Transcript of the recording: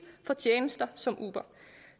for tjenester som uber